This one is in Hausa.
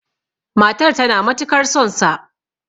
matar tana matukar sonsa!